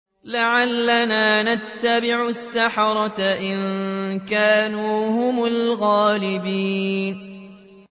لَعَلَّنَا نَتَّبِعُ السَّحَرَةَ إِن كَانُوا هُمُ الْغَالِبِينَ